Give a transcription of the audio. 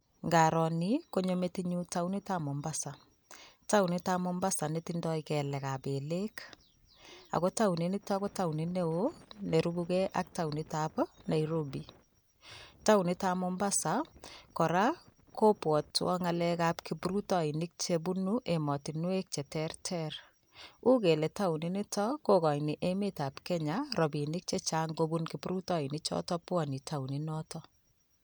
Nkaro ni konyo metinyu taonitap Mombasa. Taonitap Mombasa netindoi kelekap belek ako taoninito ko taonit neo nerubukei ak taonitap Nairobi. Taonitap Mombasa kora, kobwotwo ng'alekap kiprutoinik chebunu emotinwek cheterter. U kele taoninito kokochin emetap Kenya rabiinik chechang kobun kiprutoinichoto bwone taoninoto.